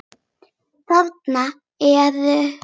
Þarna ertu!